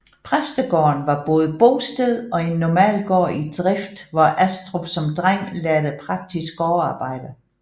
Præstegården var både bosted og en normal gård i drift hvor Astrup som dreng lærte praktisk gårdarbejde